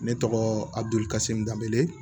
Ne tɔgɔ adukase n danbele